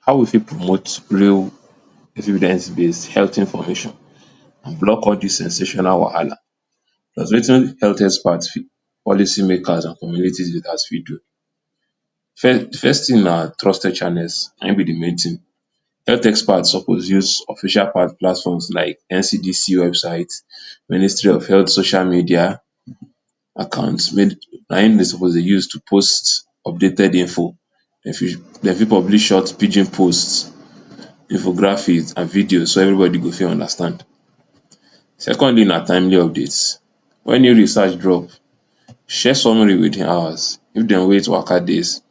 How we fit promote real based health information and block all dis sensational wahala cause wetin health expert policy makers and community leaders fit do. Fir-first thing na trusted channels na im be de main thing. Health experts suppose use official platforms like NCDC website, ministry of health social media account, na im dem suppose use to post updated info Dem fit publish short pidgin post, infographics and videos so everybody go fit understand. Secondly na timely updates. Wen new research drop, share summary within hours. If dem wait waka days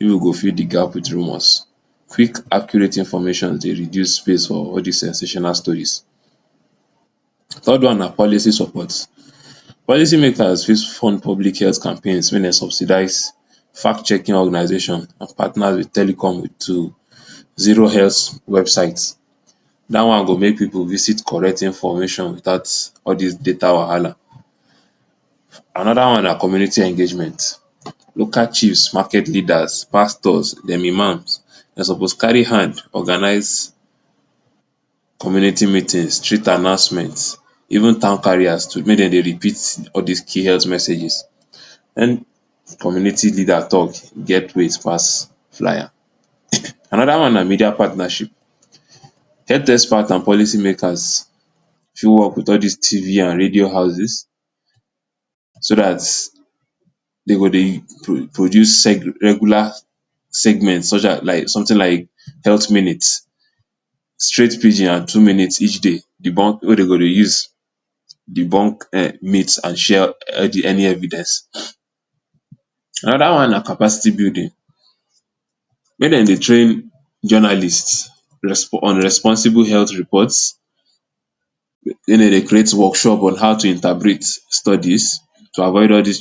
e no go fill de gap wit rumors, quick accurate information dey reduce space for all dis sensational stories. Third one na policy support. Policy makers fit fund public health campaign wey dey subsidize fact checking organization and partner wit telecom to zero health website. Dat one go help pipu visit correct information without all dis data wahala. Another one na community engagement. Local chiefs, market leaders, pastors, dem Imams; dey suppose carry hand organize community meetings, street announcement, even town carriers too make dem dey repeat all dis key health messages. Any community leader talk get weight pass flier. Another one na media partnership. Health expert and policy makers show up wit all dis TV and radio houses so dat dey go dey pro-pro-produce regular segments such as something like health minutes, straight pidgin and two minutes each day debunk wey dey go dey use debunk[um] and share any evidence. Another one na capacity building. Make dem dey train journalist, respon on responsible health reports we wey dem dey create workshop on how to interpret studies to avoid all dis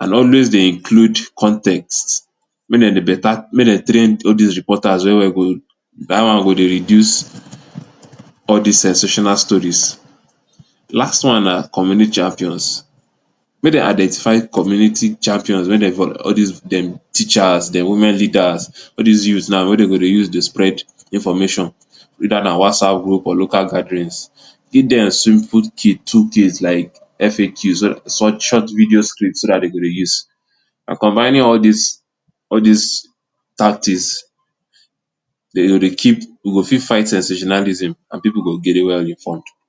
And always dey include context may dem better may dem train all dis reporters That one go reduce all dis sensational stories. Last one na communi champions. Make dem identify community champions make dem all dis dem teachers, dem women leaders, all dis youths now wey go dem use dey spread information whether na Whatsapp group or local gatherings. Give them simple kit tool kits like FAQs, short video scripts so dat dem go dey use. By combining all dis, all dis tactics dey go dey keep, we go fit fight sensationalism and pipu go well informed.